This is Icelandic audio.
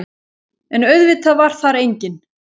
En auðvitað var þar enginn.